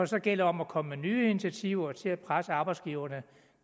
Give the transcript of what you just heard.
så gælder om at komme med nye initiativer til at presse arbejdsgiverne